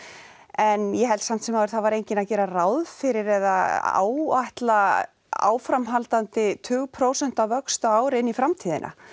en ég held samt sem áður það var enginn að gera ráð fyrir eða áætla áframhaldandi tugprósenta vöxt á ári inn í framtíðina